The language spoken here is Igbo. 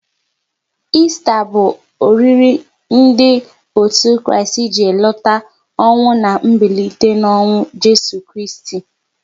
Esta bụ oriri ndị otu Kristi ji elota ọnwụ na mbilite n'ọnwụ Jeso Kristi